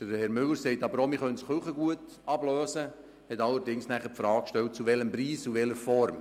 Professor Müller sagt aber auch, man könne das Kirchengut ablösen, und er stellt die Frage nach dem Preis und der Form.